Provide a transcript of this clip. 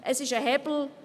Es ist ein Hebel.